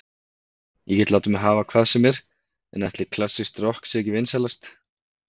Ég get látið mig hafa hvað sem er, en ætli klassískt rokk sé ekki vinsælast